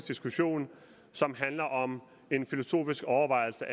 diskussioner som handler om filosofiske overvejelser